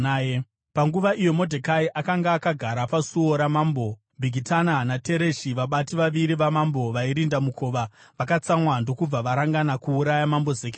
Panguva iyo Modhekai akanga akagara pasuo ramambo, Bhigitana naTereshi, vabati vaviri vamambo vairinda mukova vakatsamwa ndokubva varangana kuuraya Mambo Zekisesi.